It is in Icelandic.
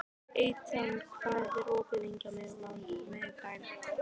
Etna, hvað er opið lengi á miðvikudaginn?